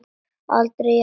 Aldrei jafnoki Öldu.